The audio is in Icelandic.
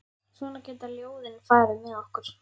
Svona geta ljóðin farið með okkur.